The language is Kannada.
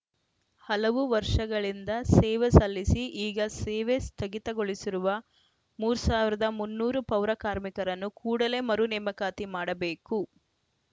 ಹಲವು ವರ್ಷಗಳಿಂದ ಸೇವೆ ಸಲ್ಲಿಸಿ ಈಗ ಸೇವೆ ಸ್ಥಗಿತಗೊಳಿಸಿರುವ ಮೂರ್ ಸಾವಿರದ ಮುನ್ನೂರು ಪೌರ ಕಾರ್ಮಿಕರನ್ನು ಕೂಡಲೇ ಮರು ನೇಮಕಾತಿ ಮಾಡಬೇಕು